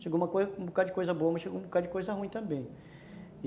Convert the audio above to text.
Chegou um bocadinho de coisa boa, mas chegou um bocadinho de coisa ruim também.